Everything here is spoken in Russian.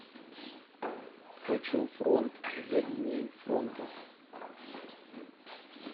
хочу фронт за линией фронта